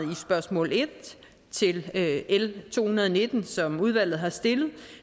med spørgsmål en til l to hundrede og nitten som udvalget har stillet